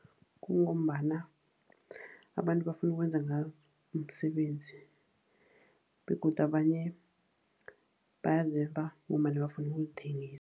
Kungombana abantu bafuna ukwenza ngazo umsebenzi, begodu abanye bayazeba ngombana bafuna ukuzithengisa.